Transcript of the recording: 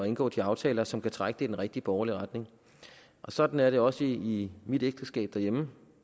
indgå de aftaler som kan trække det i den rigtige borgerlige retning sådan er det også i mit ægteskab derhjemme